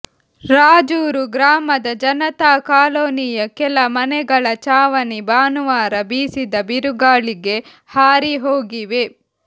ರಾಜೂರು ಗ್ರಾಮದ ಜನತಾ ಕಾಲೊನಿಯ ಕೆಲ ಮನೆಗಳ ಚಾವಣಿ ಭಾನುವಾರ ಬೀಸಿದ ಬಿರುಗಾಳಿಗೆ ಹಾರಿಹೋಗಿವೆ